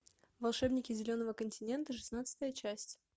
волшебники зеленого континента шестнадцатая часть